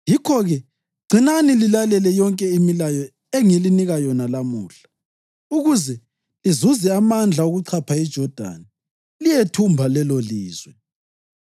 Yikho-ke gcinani lilalele yonke imilayo engilinika yona lamuhla, ukuze lizuze amandla okuchapha iJodani liyelithumba lelolizwe,